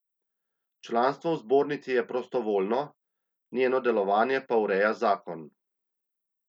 Članstvo v zbornici je prostovljno, njeno delovanje pa ureja zakon.